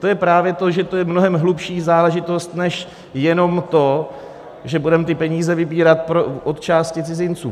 To je právě to, že to je mnohem hlubší záležitost než jenom to, že budeme ty peníze vybírat od části cizinců.